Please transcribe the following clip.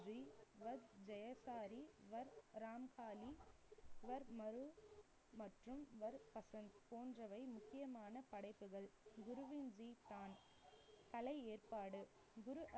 வர்த் ராம்சாலி வர்த் மற்றும் போன்றவை முக்கியமான படைப்புகள். குருவின் கலை ஏற்பாடு. குரு